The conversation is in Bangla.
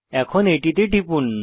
এখন এটিতে টিপুন